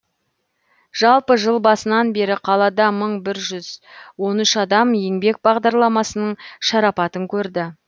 жалпы жыл басынан бері қалада мың бір жүз он үш адам еңбек бағдарламасының шарапатын көрді